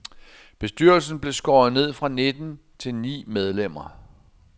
Bestyrelsen blev skåret ned fra nitten til ni medlemmer.